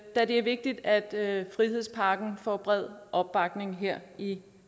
da det er vigtigt at frihedspakken får bred opbakning her i